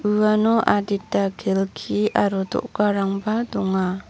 uano adita kelki aro do·garangba donga.